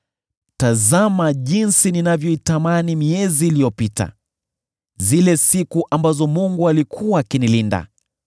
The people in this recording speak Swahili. “Tazama jinsi ninavyoitamani miezi iliyopita, zile siku ambazo Mungu alikuwa akinilinda,